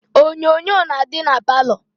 Onyonyo na-adị na palọ